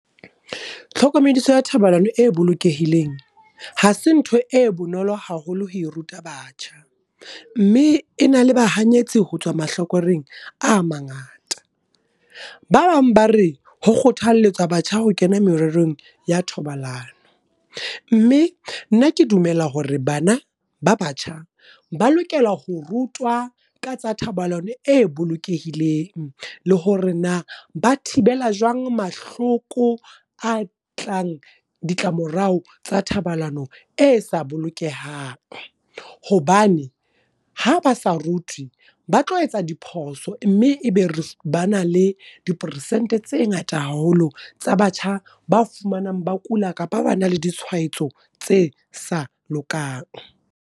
Tlhokomediso ya thobalano e bolokehileng, hase ntho e bonolo haholo ho e ruta batjha. Mme e na le bahanyetsi ho tswa mahlakoreng a mangata. Ba bang ba re ho kgothaletsa batjha ho kena mererong ya thobalano. Mme nna ke dumela hore bana ba batjha, ba lokela ho rutwa ka tsa thobalano e bolokehileng le hore na ba thibela jwang mahloko a tlang, ditlamorao tsa thobalano e sa bolokehang. Hobane ha ba sa rutwe, ba tlo etsa diphoso mme ebe re ba na le diporesente tse ngata haholo, tsa batjha ba fumanang ba kula kapa ba na le di tshwaetso tse sa lokang.